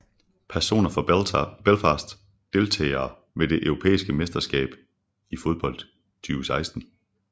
Personer fra Belfast Deltagere ved det europæiske mesterskab i fodbold 2016